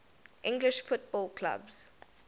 english football clubs